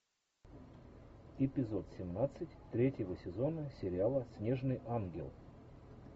эпизод семнадцать третьего сезона сериала снежный ангел